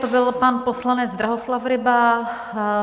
To byl pan poslanec Drahoslav Ryba.